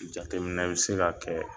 Jateminɛ bɛ se ka kɛ